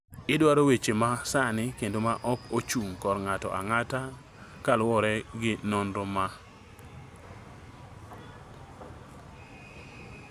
Idwaro weche ma sani kendo ma ok ochung� kor ng�ato ang�ata ma luwore gi nonro ma.